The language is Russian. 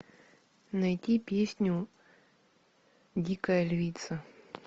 найди песню дикая львица